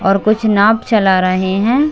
और कुछ नांव चला रहे है।